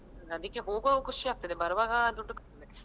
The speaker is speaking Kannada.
ಅದಿಕ್ಕೆ ಹೋಗುವಾಗ ಖುಷಿ ಆಗ್ತದೆ ಬರುವಾಗ ದುಡ್ಡು .